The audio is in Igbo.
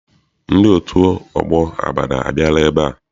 Ndị otu ọgbọ Abada abịara ebea?